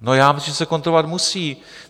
No já myslím, že se kontrolovat musí.